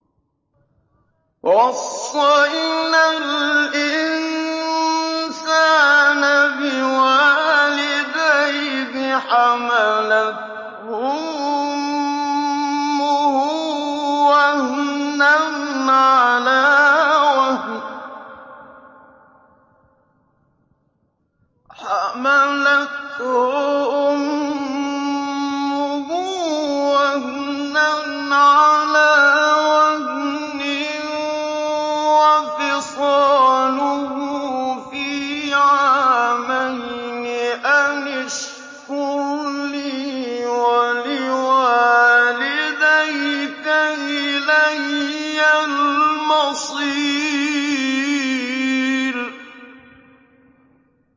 وَوَصَّيْنَا الْإِنسَانَ بِوَالِدَيْهِ حَمَلَتْهُ أُمُّهُ وَهْنًا عَلَىٰ وَهْنٍ وَفِصَالُهُ فِي عَامَيْنِ أَنِ اشْكُرْ لِي وَلِوَالِدَيْكَ إِلَيَّ الْمَصِيرُ